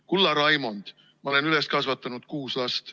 Kulla Raimond, ma olen üles kasvatanud kuus last.